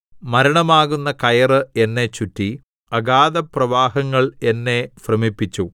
മരണമാകുന്ന കയറ് എന്നെ ചുറ്റി അഗാധപ്രവാഹങ്ങൾ എന്നെ ഭ്രമിപ്പിച്ചു